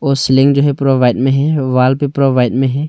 वो सीलिंग जो है पूरा वाइट में है वॉल भी पूरा व्हाइट में है।